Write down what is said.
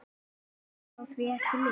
Orð fá því ekki lýst.